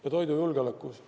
Ja toidujulgeolekust.